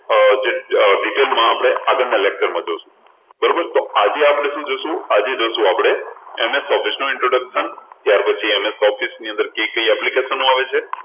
અર detail માં આપણે આગળના lecture માં જોશું બરોબર તો આજે આપણે શું જોશું? તો આજે જોશું આપણે MS Office નું introduction ત્યારપછી MS Office ની અંદર કઈ કઈ application આવે છે